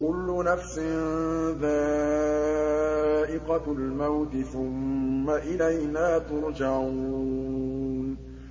كُلُّ نَفْسٍ ذَائِقَةُ الْمَوْتِ ۖ ثُمَّ إِلَيْنَا تُرْجَعُونَ